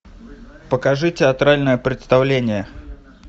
покажи театральное представление